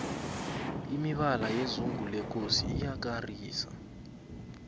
imibala yezungu lekosi iyakarisa